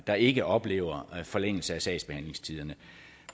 der ikke oplever en forlængelse af sagsbehandlingstiderne